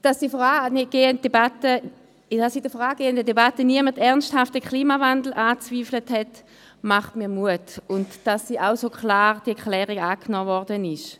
Dass in der vorangehenden Debatte niemand ernsthaft den Klimawandel angezweifelt hat und diese Erklärung so klar angenommen wurde, macht mir Mut.